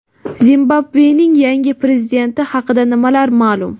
Zimbabvening yangi prezidenti haqida nimalar ma’lum?.